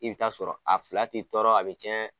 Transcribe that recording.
I bɛ ta sɔrɔ a fila t'i tɔɔrɔ a bɛ tiɲɛ.